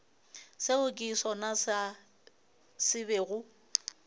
seo ke sona se bego